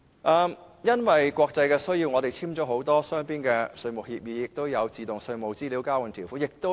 由於國際的需要，本港簽訂了很多雙邊的稅務協議，包括自動稅務資料交換的條款。